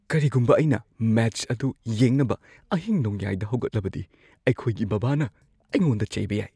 ꯀꯔꯤꯒꯨꯝꯕ ꯑꯩꯅ ꯃꯦꯆ ꯑꯗꯨ ꯌꯦꯡꯅꯕ ꯑꯍꯤꯡꯅꯣꯡꯌꯥꯏꯗ ꯍꯧꯒꯠꯂꯕꯗꯤ ꯑꯩꯈꯣꯏꯒꯤ ꯕꯥꯕꯥꯅ ꯑꯩꯉꯣꯟꯗ ꯆꯩꯕ ꯌꯥꯏ꯫